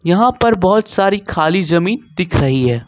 यहां पर बहुत सारी खाली जमीन दिख रही है।